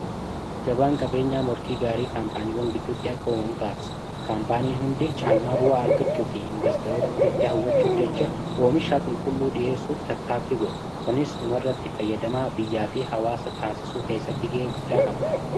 gabaan qabeenyaa morkii gaarii kaampaaniiwwan giddutti akka uumamu taasisa kaampaanii hundi caalmaa bu'aa argachuu fi investoroota ofitti hawwachuuf jecha oomishaa qulqulluu dhi'eessuuf tattaaffi godhu kunis dhuma irratti fayyadamaa biyyaa fi hawaasa taasisuu keessatti ga'ee guddaa qaba